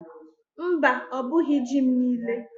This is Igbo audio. Mba, ọ bughi ji m niile.